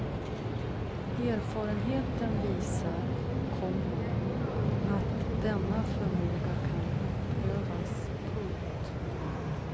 Erfarenheten visar, komma att denna förmåga kan uppövas. punkt